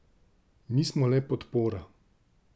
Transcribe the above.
Mi smo le podpora.